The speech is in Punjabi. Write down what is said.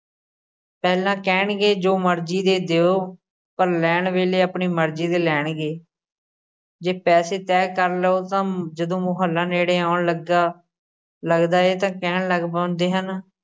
ਪਹਿਲਾਂ ਕਹਿਣਗੇ, ਜੋ ਮਰਜ਼ੀ ਦੇ ਦਿਉ ਪਰ ਲੈਣ ਵੇਲ਼ੇ ਆਪਣੀ ਮਰਜ਼ੀ ਦੇ ਲੈਣਗੇ ਜੇ ਪੈਸੇ ਤੈਅ ਕਰ ਲਉ ਤਾਂ ਜਦੋਂ ਮੁਹੱਲਾ ਨੇੜੇ ਆਉਣ ਲੱਗਾ, ਲੱਗਦਾ ਏ ਤਾਂ ਕਹਿਣ ਲੱਗ ਪੈਂਦੇ ਹਨ,